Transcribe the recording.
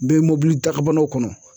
Bɛ mɔbili dagabanaw kɔnɔ